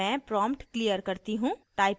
मैं prompt clear करती हूँ